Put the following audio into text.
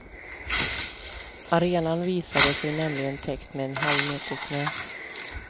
Arenan visade sig nämligen täckt med en halv meter snö.